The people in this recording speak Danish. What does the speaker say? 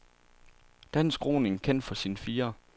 Dansk roning kendt for sin firer.